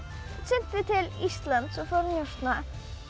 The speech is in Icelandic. synti til Íslands og fór að njósna